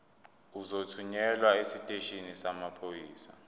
uzothunyelwa esiteshini samaphoyisa